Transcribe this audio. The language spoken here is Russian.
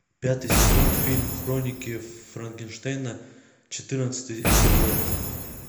пятый сезон фильм хроники франкенштейна четырнадцатый эпизод